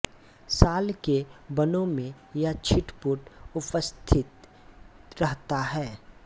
साल के वनों में यह छिटपुट उपस्थित रहता है